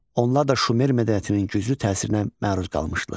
Onlar da Şumer mədəniyyətinin güclü təsirinə məruz qalmışdılar.